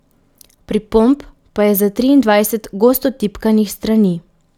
Pripomb pa je za triindvajset gosto tipkanih strani.